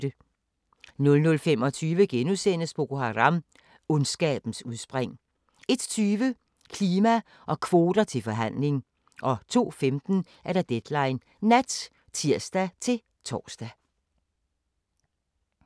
00:25: Boko Haram – Ondskabens udspring * 01:20: Klima og kvoter til forhandling 02:15: Deadline Nat (tir-tor)